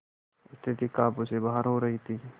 स्थिति काबू से बाहर हो रही थी